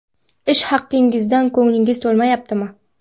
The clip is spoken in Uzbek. Ish haqingizdan ko‘nglingiz to‘lmayaptimi?